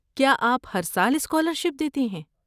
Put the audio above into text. کیا آپ ہر سال اسکالرشپ دیتے ہیں؟